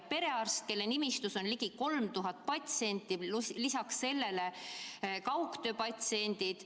Ta on perearst, kelle nimistus on ligi 3000 patsienti, pluss lisaks sellele kaugtööpatsiendid.